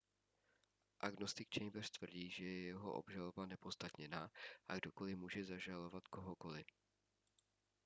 agnostik chambers tvrdí že je jeho obžaloba neopodstatněná a kdokoli může zažalovat kohokoli